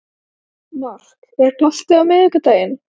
Mark, er bolti á miðvikudaginn?